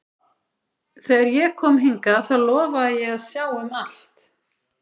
Þegar ég kom hingað þá lofaði ég að sjá um allt.